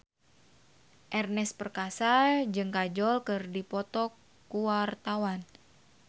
Ernest Prakasa jeung Kajol keur dipoto ku wartawan